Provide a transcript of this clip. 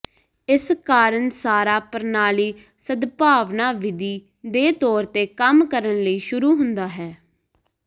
ਇਸ ਕਾਰਨ ਸਾਰਾ ਪ੍ਰਣਾਲੀ ਸਦਭਾਵਨਾ ਵਿਧੀ ਦੇ ਤੌਰ ਤੇ ਕੰਮ ਕਰਨ ਲਈ ਸ਼ੁਰੂ ਹੁੰਦਾ ਹੈ